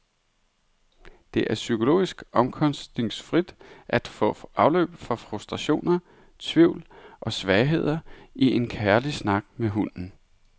Det er psykologisk omkostningsfrit at få afløb for frustrationer, tvivl og svagheder i en kærlig snak med hunden.